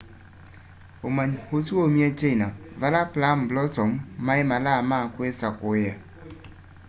umanyi ũsu waumie china vala plum blossom mai malaa ma kwisakuiya